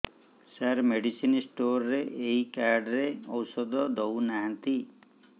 ସାର medicine store ରେ ଏଇ card ରେ ଔଷଧ ଦଉନାହାନ୍ତି